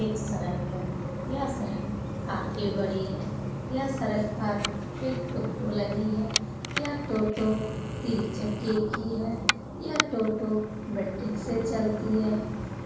एक सड़क है यह सड़क काफी बड़ी है यह सड़क पर एक टोटो लगी है यह टोटो तीन चक्के की है यह टोटो बैटिक से चलती है